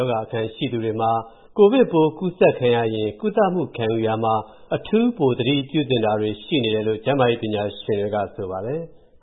ောဂါအခံ ရှိသူတွေမှာ၊ ကိုဗစ်ပိုးကူးစက်ခံရလျှင်၊ ကုသမူခံယူရာမှာ အထူးပိုသတိပြုသင့်တာတွေ ရှိနေတယ်လို့ ကျန်းမာရေးပညာရှင်တွေ က ဆိုပါတယ်။